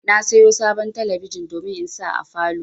Na sayo sabon talabijin domin in sa a falow